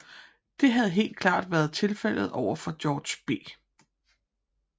Det havde helt klart været tilfældet over for George B